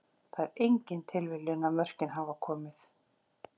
Það er engin tilviljun að mörkin hafa komið.